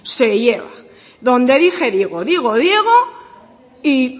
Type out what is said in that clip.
se lleva donde dije digo digo diego y